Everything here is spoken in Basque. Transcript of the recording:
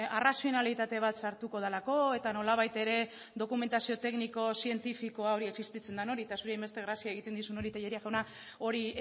arrazionalitate bat sartuko delako eta nolabait ere dokumentazio tekniko zientifikoa hori existitzen dan hori eta zuri hainbeste grazia egiten dizun hori tellería jauna hori